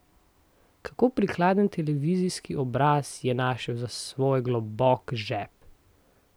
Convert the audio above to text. Kako prikladen televizijski obraz je našel za svoj globok žep!